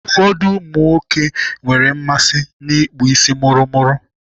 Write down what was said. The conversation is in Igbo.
Ụfọdụ ụmụnwoke nwere mmasị n'ịkpụ isi mụrụmụrụ.